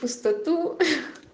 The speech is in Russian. пустоту ха